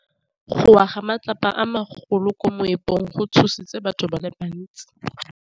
Go wa ga matlapa a magolo ko moepong go tshositse batho ba le bantsi.